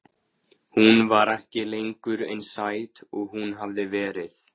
Hún var ekki lengur eins sæt og hún hafði verið.